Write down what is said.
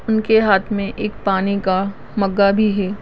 उनके हात में एक पानी का मगा भी है।